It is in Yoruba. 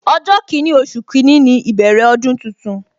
Ọjọ kini, oṣù kini ni ìbẹ̀rẹ̀ ọdún tuntun